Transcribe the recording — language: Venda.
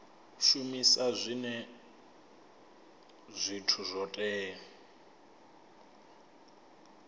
shumisa zwinwe zwithu zwo teaho